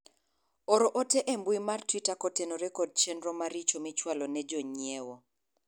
or ote e mbui mar twita kotenore kod chenro maricho michwalo ne jonyiewo